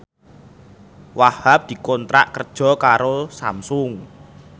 Wahhab dikontrak kerja karo Samsung